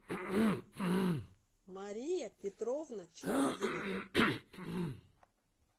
мария петровна чапигина